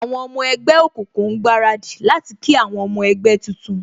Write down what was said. Àwọn ọmọ ẹgbẹ́ òkùnkùn ń gbaradì láti kí àwọn ọmọ ẹgbẹ́ tuntun